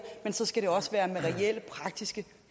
men så skal det også være med reelle praktiske